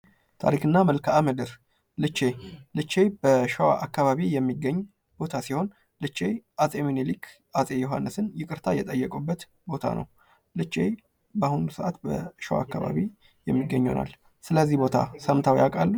ታሪክ እና መልክዓ ምድር ልቸ ልቼ በሸዋ አካባቢ የሚገኝ ቦታ ሲሆን ልቼ አጼ ሚኒሊክ አጼ ዮሐንስን ይቅርታ የጠየቁበት ቦታ ነው። ልቸ በአሁኑ ሰአት በሸዋ አካባቢ የሚገኝ ይሆናል። ስለዚህ ቦታ ሰምተው ያውቃሉ?